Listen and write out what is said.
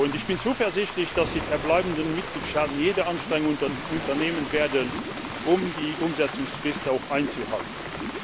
Ich bin zuversichtlich, dass die verbleibenden Mitgliedstaaten jede Anstrengung unternehmen werden, um die Umsetzungsfrist einzuhalten.